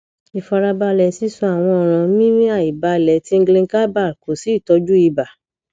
ifarabale sisun awon oran mimiaibale tinglingaibale ko si itoju iba